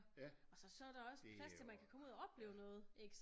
Og så der også plads til at man kan komme ud og opleve noget ik